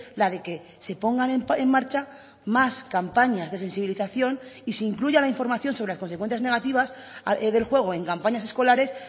la de que se pongan en marcha más campañas de sensibilización y se incluya la información sobre las consecuencias negativas del juego en campañas escolares